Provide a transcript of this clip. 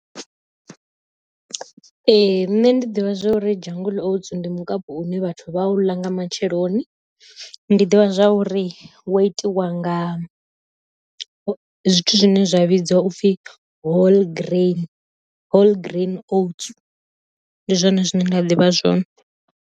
Ee ṋne ndi ḓivha zwori jungle oats ndi mukapu une vhathu vha u ḽa nga matsheloni, ndi ḓivha zwa uri wo itiwa nga zwithu zwine zwa vhidziwa upfhi whole grain whole grain oats, ndi zwone zwine nda ḓivha zwone.